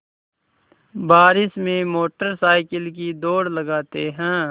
बारिश में motor cycle की दौड़ लगाते हैं